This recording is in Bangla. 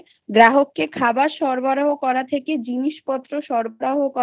গ্রাহকে খাবার সরবরাহ করা থেকে জিনিসপত্র সরবরাহ করা